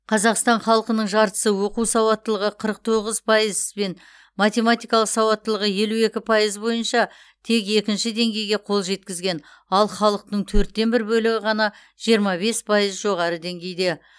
қазақстан халқының жартысы оқу сауаттылығы қыры тоғыз пайыз бен математикалық сауаттылығы елу екі пайыз бойынша тек екінші деңгейге қол жеткізген ал халықтың төрттен бір бөлігі ғана жиырма пайыз пайыз жоғары деңгейде